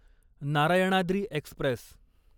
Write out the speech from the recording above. Narayanadri Express